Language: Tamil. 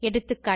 எகா